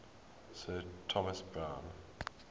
sir thomas browne